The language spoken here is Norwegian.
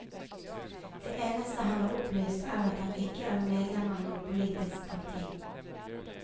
Det eneste han har opplyst, er at han ikke er medlem av noe politisk parti.